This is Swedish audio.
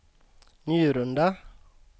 Njurunda